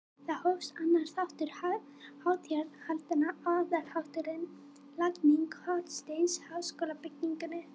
Þar hófst annar þáttur hátíðahaldanna- aðalþátturinn- lagning hornsteins að háskólabyggingunni.